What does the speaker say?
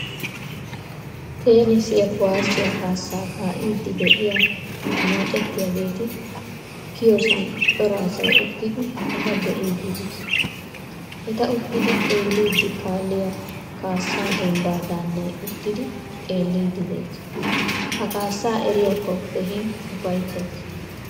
Tenisiyaa kuwaasoyaa kasa kaidi deiyaa anacettiyagetti kaiyosan cora asay uttidi eta beidi de'ees. Etta uttidi xeelidi kaalliyaa kaasa dembba daannay uttidi xeelidi de'ees. Ha kaasa eriyako keehin ufayttays.